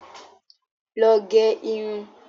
Lọọ gẹ irun